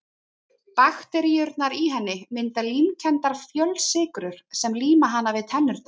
Bakteríurnar í henni mynda límkenndar fjölsykrur sem líma hana við tennurnar.